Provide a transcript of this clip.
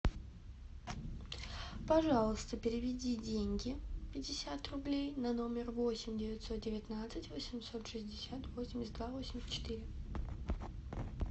пожалуйста переведи деньги пятьдесят рублей на номер восемь девятьсот девятнадцать восемьсот шестьдесят восемьдесят два восемьдесят четыре